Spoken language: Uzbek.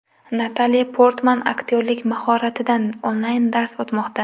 Natali Portman aktyorlik mahoratidan onlayn-dars o‘tmoqda .